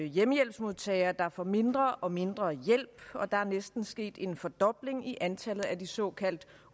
hjemmehjælpsmodtagere der får mindre og mindre hjælp og der er næsten sket en fordobling i antallet af de såkaldt